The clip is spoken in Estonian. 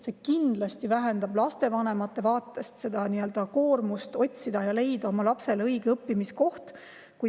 See kindlasti vähendab lastevanemate koormust, otsida ja leida oma lapsele õige õppimiskoht.